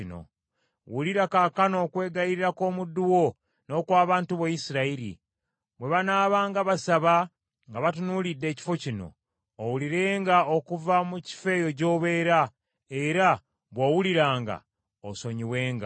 Wulira kaakano okwegayirira kw’omuddu wo n’okw’abantu bo Isirayiri, bwe banaabanga basaba nga batunuulidde ekifo kino; owulirenga okuva mu kifo eyo gy’obeera, era bw’owuliranga, osonyiwenga.